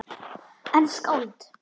En skáld?